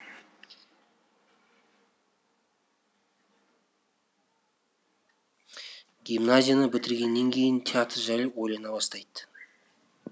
гимназияны бітіргеннен кейін театр жайлы ойлана бастайды